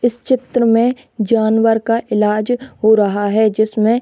इस चित्र में जानवर का इलाज हो रहा है जिसमें --